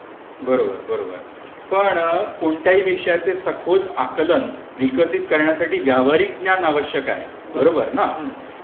बरोबर, बरोबर. पण कोणत्याही विषयाचे सखोल आकलन विकसित करण्यासाठी व्यावहारिक ज्ञान आवश्यक आहे. बरोबर ना?